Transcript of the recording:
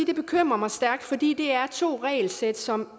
det bekymrer mig stærkt fordi det er to regelsæt som